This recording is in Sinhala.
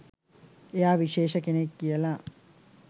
එයා විශේෂ කෙනෙක් කියලා.